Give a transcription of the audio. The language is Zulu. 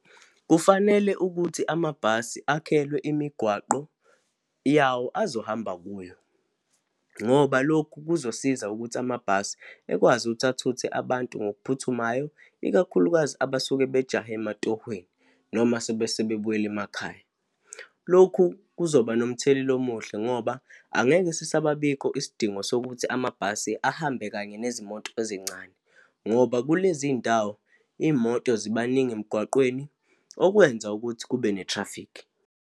Kufanele ukuthi amabhasi akhelwe imigwaqo yawo azohamba kuyo, ngoba lokhu kuzosiza ukuthi amabhasi ekwazi ukuthi athuthe abantu ngokuphuthumayo, ikakhulukazi abasuke bajahe ematohweni noma sobe sebebuyela emakhaya. Lokhu kuzoba nomthelela omuhle ngoba angeke sisababikho isidingo sokuthi amabhasi ahambe kanye nezimoto ezincane, ngoba kulezi ndawo iy'moto zibaningi emgwaqweni, okwenza ukuthi kube nethrafikhi.